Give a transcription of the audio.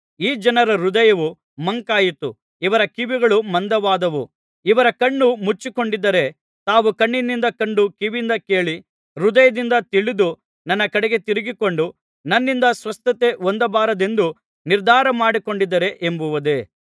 ಈ ಜನರ ಹೃದಯವು ಮಂಕಾಯಿತು ಇವರ ಕಿವಿಗಳು ಮಂದವಾದವು ಇವರು ಕಣ್ಣು ಮುಚ್ಚಿಕೊಂಡಿದ್ದಾರೆ ತಾವು ಕಣ್ಣಿನಿಂದ ಕಂಡು ಕಿವಿಯಿಂದ ಕೇಳಿ ಹೃದಯದಿಂದ ತಿಳಿದು ನನ್ನ ಕಡೆಗೆ ತಿರುಗಿಕೊಂಡು ನನ್ನಿಂದ ಸ್ವಸ್ಥತೆ ಹೊಂದಬಾರದೆಂದು ನಿರ್ಧಾರ ಮಾಡಿಕೊಂಡಿದ್ದಾರೆ ಎಂಬುದೇ